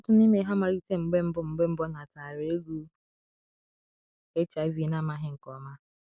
"Ọtụtụ n’ime ha malite mgbe mbụ mgbe mbụ nataara egwu HIV na amaghị nke ọma."